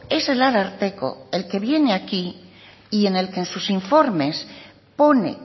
es el ararteko el que viene aquí y en el que en sus informes pone